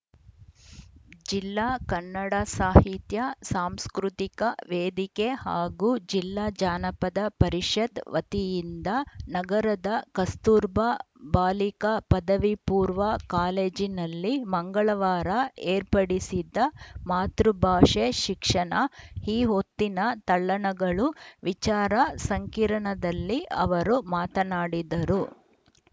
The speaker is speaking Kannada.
ಜಿಲ್ಲಾ ಕನ್ನಡ ಸಾಹಿತ್ಯ ಸಾಂಸ್ಕೃತಿಕ ವೇದಿಕೆ ಹಾಗೂ ಜಿಲ್ಲಾ ಜಾನಪದ ಪರಿಷತ್‌ ವತಿಯಿಂದ ನಗರದ ಕಸ್ತೂರ ಬಾ ಬಾಲಿಕಾ ಪದವಿಪೂರ್ವ ಕಾಲೇಜಿನಲ್ಲಿ ಮಂಗಳವಾರ ಏರ್ಪಡಿಸಿದ್ದ ಮಾತೃಭಾಷೆ ಶಿಕ್ಷಣ ಈ ಹೊತ್ತಿನ ತಲ್ಲಣಗಳು ವಿಚಾರ ಸಂಕಿರಣದಲ್ಲಿ ಅವರು ಮಾತನಾಡಿದರು